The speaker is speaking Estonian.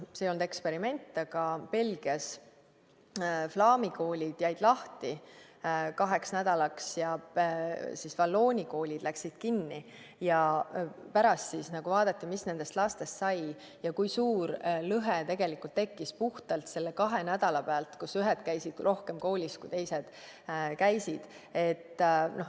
See ei olnud eksperiment, aga Belgias flaami koolid jäid lahti kaheks nädalaks ja vallooni koolid läksid kinni ning pärast vaadati, mis nendest lastest sai ja kui suur lõhe tekkis puhtalt selle kahe nädalaga, kui ühed käisid rohkem koolis kui teised.